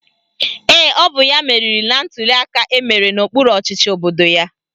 Ee, ọ bụ ya meriri na ntuliaka emere n'okpuru ọchịchị obodo ya